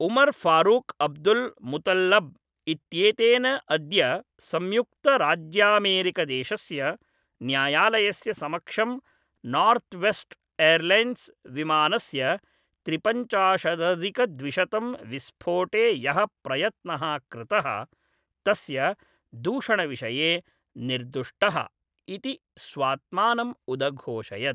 Omar Farouk Abdulmutallab इत्येतेन अद्य संयुक्तराज्यामेरिकादेशस्य न्यायालयस्य समक्षं नार्थ्वेस्ट् एर्लैन्स् विमानस्य त्रिपञ्चाशदधिकद्विशतं विस्फोटे यः प्रयत्नः कृतः तस्य दूषणविषये 'निर्दुष्टः' इति स्वात्मानम् उदघोषयत्।